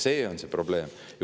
See on see probleem.